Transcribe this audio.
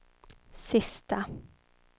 sista